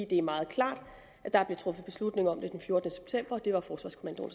det er meget klart at der blev truffet beslutning om det den fjortende september og at det var forsvarskommandoen